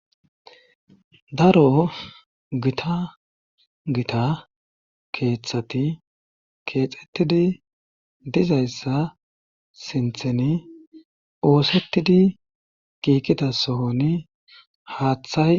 Daro gita gita keeththati keexettidi dizayssa sinthen oosettidi kiikita sohoni haaththay.